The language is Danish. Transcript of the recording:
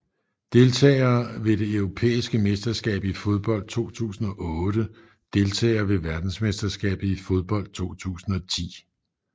Deltagere ved det europæiske mesterskab i fodbold 2008 Deltagere ved verdensmesterskabet i fodbold 2010